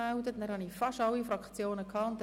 Damit haben wir fast alle Fraktionen gehört.